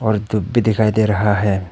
और धूप भी दिखाई दे रहा है।